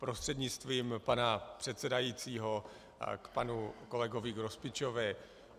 Prostřednictvím pana předsedajícího k panu kolegovi Grospičovi.